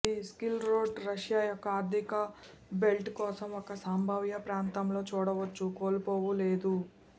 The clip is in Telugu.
ఇది సిల్క్ రోడ్ రష్యా యొక్క ఆర్థిక బెల్ట్ కోసం ఒక సంభావ్య ప్రాంతంలో చూడవచ్చు కోల్పోవు లేదు